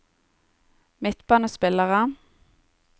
midtbanespillere